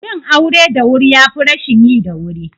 Yin aure da wuri yafi rashin yi da wuri